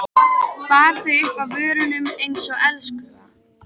Bar þau upp að vörunum einsog elskhuga.